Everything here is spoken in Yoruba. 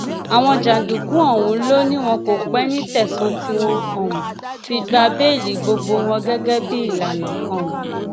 àwọn jàǹdùkú ọhún ló ní wọn kò pẹ ní tẹsán tí wọn um fi gba béèlì gbogbo wọn gẹgẹ bíi ìlànà um